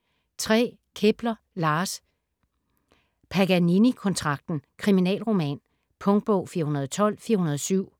Kepler, Lars: Paganinikontrakten: kriminalroman Punktbog 412407